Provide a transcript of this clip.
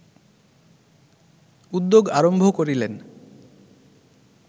উদ্যোগ আরম্ভ করিলেন